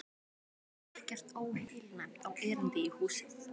Ekkert óheilnæmt á erindi í húsið.